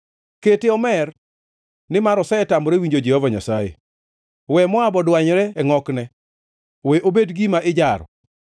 “Kete omer, nimar osetamore winjo Jehova Nyasaye. We Moab odwanyre e ngʼokne; we obed gima ijaro.